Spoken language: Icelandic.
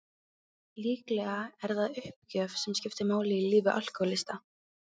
Líklega er það uppgjöf sem skiptir máli í lífi alkohólista.